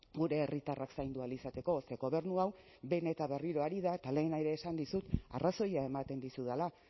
gure herritarrak zaindu ahal izateko ze gobernu hau behin eta berriro ari da eta lehen ere esan dizut arrazoia ematen dizudala